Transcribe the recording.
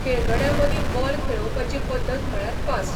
खेळगड्यां मदीं बॉल खेळोवपाची पद्दत म्हळ्यार पास.